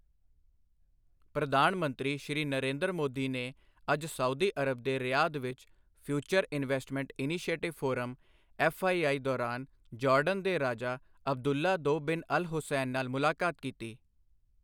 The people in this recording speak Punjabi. ਪ੍ਰਧਾਨ ਮੰਤਰੀ ਸ਼੍ਰੀ ਨਰੇਂਦਰ ਮੋਦੀ ਨੇ ਅੱਜ ਸਾਊਦੀ ਅਰਬ ਦੇ ਰਿਆਧ ਵਿੱਚ future investment initiative forum FII ਦੌਰਾਨ ਜੌਰਡਨ ਦੇ ਰਾਜਾ ਅਬਦੁੱਲਾ ਦੋ ਬਿਨ ਅਲ ਹੁਸੈਨ ਨਾਲ ਮੁਲਾਕਾਤ ਕੀਤੀ।